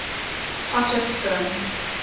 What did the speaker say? potchefstroom